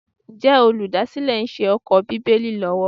Ǹjẹ́ olùdásílẹ̀ ń ṣe ẹ̀kọ́ Bíbélì lọ́wọ́?